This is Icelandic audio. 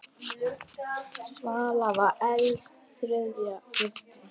Svala var elst þriggja systra.